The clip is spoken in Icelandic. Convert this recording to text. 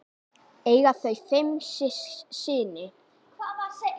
Eiga þau fimm syni.